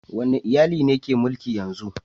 Wane iyali ne ke mulki yanzu?